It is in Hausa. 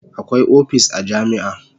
Akwai opis a jami'a